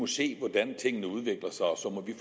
se hvordan tingene udvikler sig og så må vi